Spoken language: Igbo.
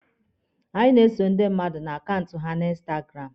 A na-eso ndị mmadụ na akaụntụ ha na instagramụ.